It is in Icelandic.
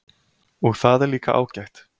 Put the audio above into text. Og það er líka ágætt